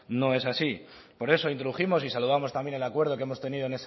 no es así por eso introdujimos y saludamos también el acuerdo que hemos tenido